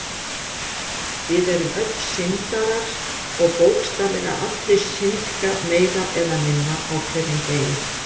Við erum öll syndarar og bókstaflega allir syndga meira eða minna á hverjum degi.